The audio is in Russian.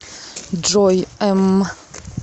джой эмм